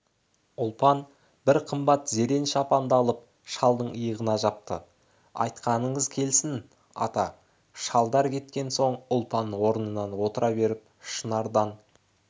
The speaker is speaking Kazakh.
ұлпан бір қымбат зерен шапанды алып шалдың иығына жапты айтқаныңыз келсін ата шалдар кеткен соң ұлпан орнына отыра беріп шынарданей